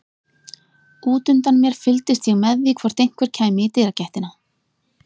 Útundan mér fylgdist ég með því hvort einhver kæmi í dyragættina.